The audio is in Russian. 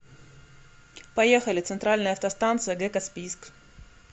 поехали центральная автостанция г каспийск